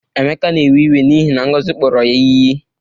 Emeka na-ewe iwe n'ihi na Ngozi kpọrọ ya iyi.